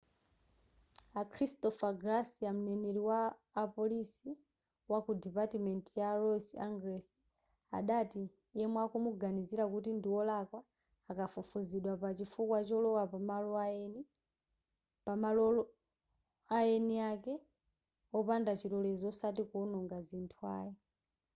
a christopher garcia mneneri wa apolisi waku dipatiment ya los angeles adati yemwe akumuganizira kuti ndi wolakwa akufufuzidwa pa chifukwa cholowa pamalo aeni ake wopanda chilolezo osati kuwononga zinthu ayi